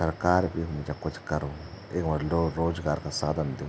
सरकार भी हुन्द जा कुछ करुन्द यख्मा लोग रोजगार का साधन दु।